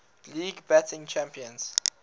league batting champions